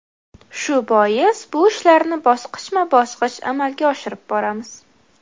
Shu bois, bu ishlarni bosqichma-bosqich amalga oshirib boramiz.